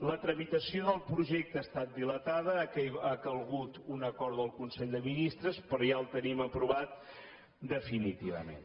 la tramitació del projecte ha estat dilatada ha calgut un acord del consell de ministres però ja el tenim aprovat definitivament